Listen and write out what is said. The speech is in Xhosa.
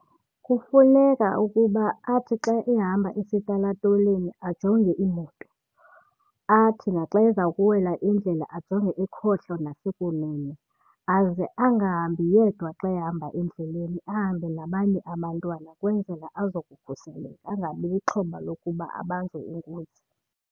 Kufuneka ukuba athi xa ehamba esitalatoleni ajonge iimoto, athi naxa eza kuwela indlela ajonge ekhohlo nasekunene. Aze angahambi yedwa xa ehamba endleleni ahambe nabanye abantwana kwenzela azokukhuseleka angabi lixhoba lokuba abanjwe inkunzi.